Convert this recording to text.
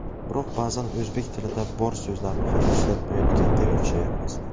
Biroq ba’zan o‘zbek tilida bor so‘zlarni ham ishlatmayotganga o‘xshayapmiz.